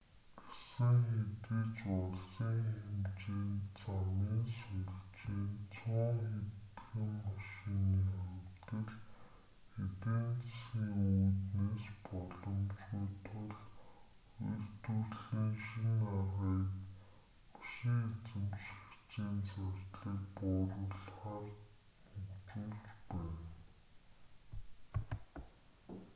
гэсэн хэдий ч улсын хэмжээнд замын сүлжээ нь цөөн хэдхэн машины хувьд л эдийн засгийн үүднээс боломжгүй тул үйлдвэрлэлийн шинэ аргыг машин эзэмшигчийн зардлыг бууруулахаар хөгжүүлж байна